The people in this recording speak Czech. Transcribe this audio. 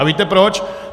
A víte proč?